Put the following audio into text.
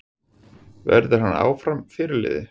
Verður hann áfram fyrirliði?